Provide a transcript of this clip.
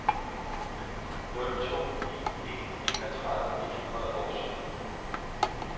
nul to ni en enogtredive et hundrede og sytten